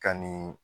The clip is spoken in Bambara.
Ka nin